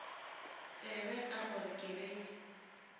tsebe ka gore ke be